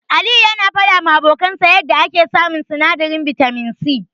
Aliyu yana faɗawa abokansa yanda yake samun sinadarin bitamin C.